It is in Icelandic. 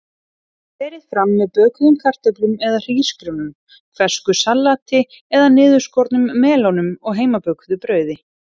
Berið fram með bökuðum kartöflum eða hrísgrjónum, fersku salati eða niðurskornum melónum og heimabökuðu brauði.